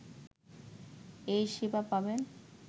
এ সেবা পাবেন